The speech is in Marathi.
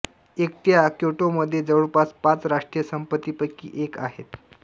एकट्या क्योटोमध्ये जवळपास पाच राष्ट्रीय संपत्तीपैकी एक आहे